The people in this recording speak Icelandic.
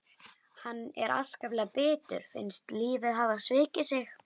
Hann er enn afskaplega bitur, finnst lífið hafa svikið sig.